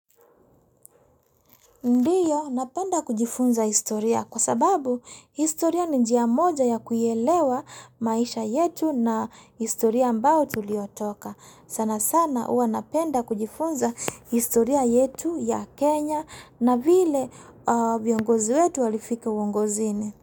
Ndiyo, napenda kujifunza historia kwa sababu historia ni njia moja ya kuelewa maisha yetu na historia ambao tuliotoka. Sana sana huanapenda kujifunza historia yetu ya Kenya na vile viongozi wetu walifika uongozini.